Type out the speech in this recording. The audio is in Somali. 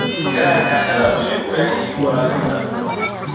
Midhaha ya yaanyada waxay u baahan yihiin waraabinta.